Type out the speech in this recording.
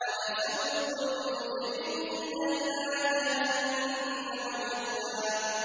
وَنَسُوقُ الْمُجْرِمِينَ إِلَىٰ جَهَنَّمَ وِرْدًا